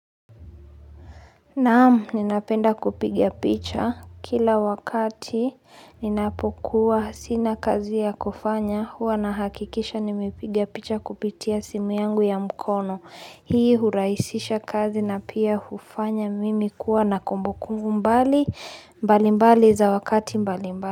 Naam ninapenda kupiga picha kila wakati ninapokuwa sina kazi ya kufanya huwa na hakikisha nimepiga picha kupitia simu yangu ya mkono. Hii hurahisisha kazi na pia hufanya mimi kuwa na kumbukumbu mbali mbali za wakati mbali mbali.